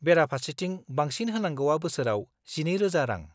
बेराफारसेथिं बांसिन होनांगौआ बोसोराव 12000 रां।